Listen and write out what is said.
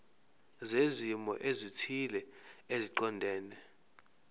zezimo ezithile eziqondene